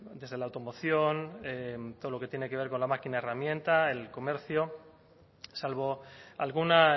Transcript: desde la automoción todo lo que tiene que ver con la máquina herramienta el comercio salvo alguna